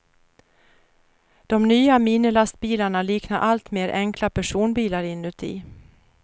De nya minilastbilarna liknar alltmer enkla personbilar inuti.